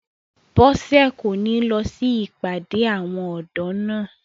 Bọ́sẹ̀ kò ní lọ sí ìpàdé àwọn ọ̀dọ́ náà